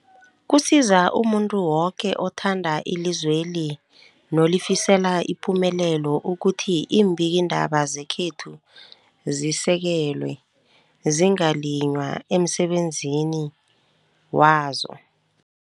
Kusiza umuntu woke othanda ilizweli nolifisela ipumelelo ukuthi iimbikiindaba zekhethu zisekelwe, zingaliywa emsebenzini wazo.